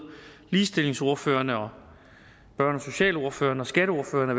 ligestillingsordførerne børne og socialordførerne og skatteordførerne